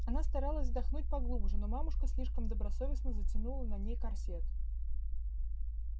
она старалась вздохнуть поглубже но мамушка слишком добросовестно затянула на ней корсет